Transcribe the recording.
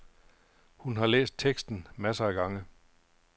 Hun har læst teksten masser af gange.